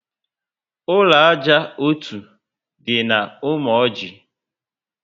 Ụlọ ájá ọtọ dị na Umoji